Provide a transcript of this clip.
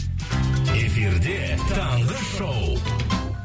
эфирде таңғы шоу